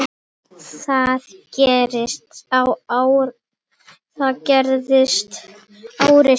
Það gerðist ári síðar.